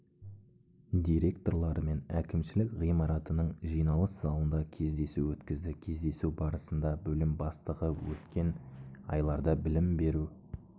директорларымен әкімшілік ғимаратының жиналыс залында кездесу өткізді кездесу барысында бөлім бастығы өткен айларда білім беру